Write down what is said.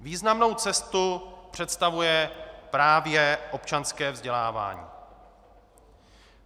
Významnou cestu představuje právě občanské vzdělávání.